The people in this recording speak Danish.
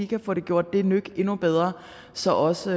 kan få gjort det et nyk endnu bedre så også